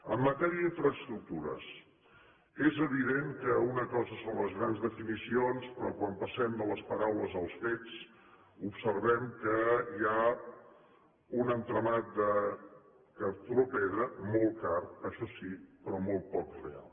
en matèria d’infraestructures és evident que una cosa són les grans definicions però quan passem de les paraules als fets observem que hi ha un entramat de cartró pedra molt car això sí però molt poc real